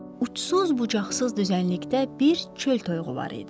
Uçsuz bucaqsız düzənlikdə bir çöl toyuğu var idi.